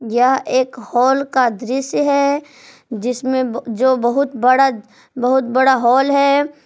यह एक हॉल का दृश्य है जिसमें जो बहुत बड़ा बहुत बड़ा हॉल है।